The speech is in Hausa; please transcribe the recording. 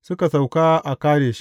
Suka sauka a Kadesh.